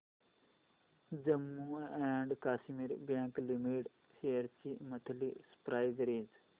Jammu and Kashmir bank limited shares ची monthly price range